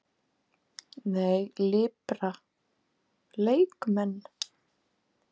Nei, Lipra leikmenn?